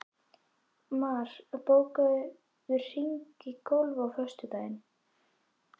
Mar, bókaðu hring í golf á föstudaginn.